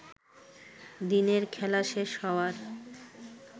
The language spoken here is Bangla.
দিনের খেলাশেষ হওয়ার